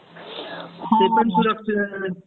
Unintelligible words